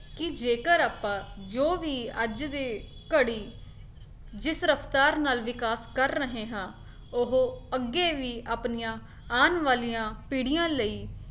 ਕੀ ਜੇਕਰ ਆਪਾਂ ਜੋ ਵੀ ਅੱਜ ਦੀ ਘੜੀ ਜਿਸ ਰਫਤਾਰ ਨਾਲ ਵਿਕਾਸ ਕਰ ਰਹੇ ਹਾਂ ਉਹ ਅੱਗੇ ਵੀ ਆਪਣੀਆਂ ਆਉਣ ਵਾਲਿਆਂ ਪੀੜੀਆਂ ਲਈ